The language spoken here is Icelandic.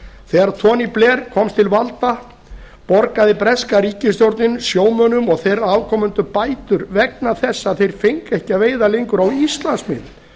þegar tony blair komst til valda borgaði breska ríkisstjórnin sjómönnum og þeirra afkomendum bætur vegna þess að þeir fengu ekki að veiða lengur á íslandsmiðum